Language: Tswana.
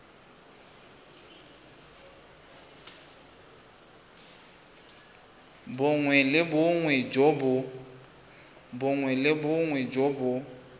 bongwe le bongwe jo bo